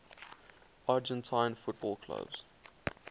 argentine football clubs